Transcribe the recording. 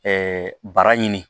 bara ɲini